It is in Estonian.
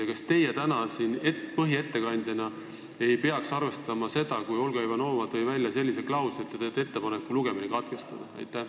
Ja kas teie täna siin põhiettekandjana ei peaks arvestama seda, et Olga Ivanova tõi välja ühe klausli, nii et te teete ettepaneku eelnõu lugemine katkestada?